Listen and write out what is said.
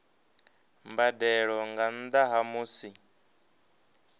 mbadelo nga nnda ha musi